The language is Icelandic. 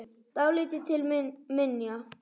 Dálítið til minja.